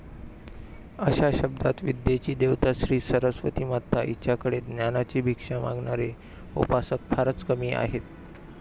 अशा शब्दात विद्येची देवता श्री सरस्वती माता हिच्याकडे ज्ञानाची भिक्षा मागणारे उपासक फारच कमी आहेत.